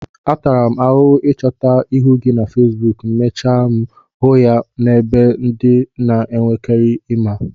Atara m ahụhụ ịchọta ihu gị na feesbuk, mechaa m hụ ya n'ebe ndị m nwereike ịma